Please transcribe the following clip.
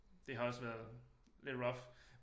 Det har også været lidt rough